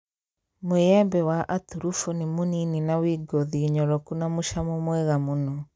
Mũĩembe wa aturubo nĩ mũnini na wĩ ngothi nyoroku na mũcamo mwega mũno